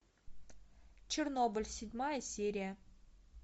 чернобыль седьмая серия